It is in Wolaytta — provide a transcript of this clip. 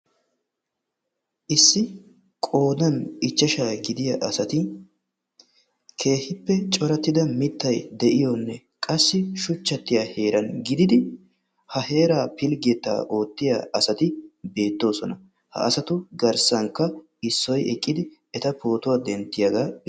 Issi qoodan ichashsha gidiyaa asati keehippe coratida mittay de'iyoonne qassi shuchchatiyaa heeran pilggetta oottoonona. hegetuppe issoy eqqidi eta pootuwaa denttiyaagaa....